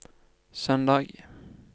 søndag